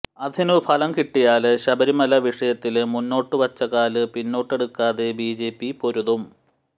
അതിനു ഫലം കിട്ടിയാല് ശബരിമല വിഷയത്തില് മുന്നോട്ടുവച്ച കാല് പിന്നോട്ടെടുക്കാതെ ബി ജെ പി പൊരുതും